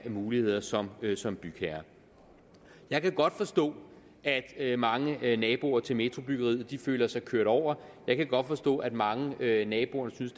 muligheder som som bygherre jeg kan godt forstå at at mange naboer til metrobyggeriet føler sig kørt over jeg kan godt forstå at mange af naboerne synes